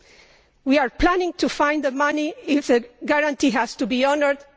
Where are we planning to find the money if the guarantee has to be honoured?